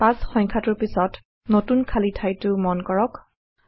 ৫ সংখ্যাটোৰ পিছত নতুন খালী ঠাইটো মন কৰক